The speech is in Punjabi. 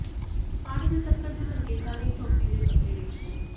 ਪਾਣੀ ਦੇ ਸੰਕਟ ਦੇ ਸੰਕੇਤਾਂ ਲਈ ਝੋਟੇ ਦੇ ਪੱਤੇ ਵੇਖੋ